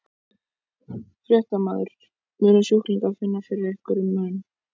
Fréttamaður: Munu sjúklingar finna fyrir einhverjum mun?